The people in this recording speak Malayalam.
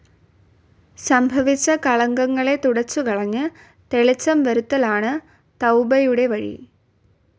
സംഭവിച്ച കളങ്കങ്ങളെ തുടച്ചുകളഞ്ഞ്, തെളിച്ചം വരുത്തലാണ് തൗബയുടെ വഴി.